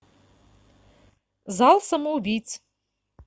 зал самоубийц